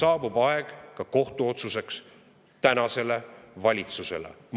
Saabub aeg ka kohtuotsuseks tänasele valitsusele.